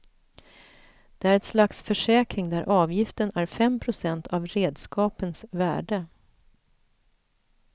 Det är ett slags försäkring där avgiften är fem procent av redskapens värde.